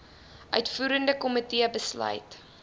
uitvoerende komitee besluit